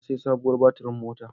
Na sayi sabuwar baturin mota.